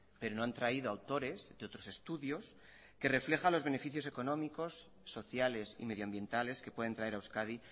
pero no han traído autores de otros estudios que reflejan los beneficios económicos sociales y medioambientales que pueden traer a euskadi